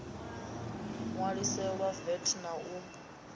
ṋwaliselwa vat na u ṱu